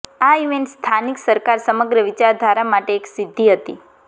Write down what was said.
આ ઇવેન્ટ સ્થાનિક સરકાર સમગ્ર વિચારધારા માટે એક સિદ્ધિ હતી